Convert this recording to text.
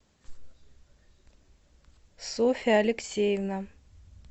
софья алексеевна